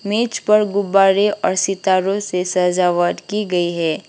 मेज पर गुब्बारे और सितारों से सजावट की गई है।